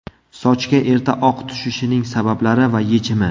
Sochga erta oq tushishining sabablari va yechimi.